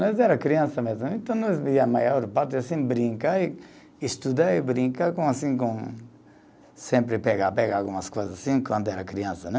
Nós era criança mesmo, então a maior parte, assim, brincar e, estudar e brincar, assim com sempre pegar, pegar algumas coisas assim, quando era criança, né?